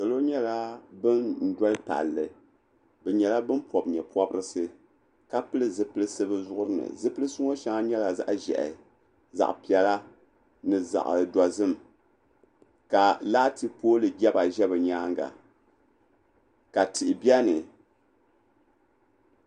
Salo nyɛla ban doli palli bɛ nyɛla ban pɔbi nye'pɔbirisi ka pili zipilisi bɛ zuɣuri ni zipilisi ŋɔ shɛŋa nyɛla zaɣ'ʒɛhi zaɣ'piɛla ni zaɣ'dozim ka laati pooli jɛba ʒe bɛ nyaaŋa ka tihi be ni.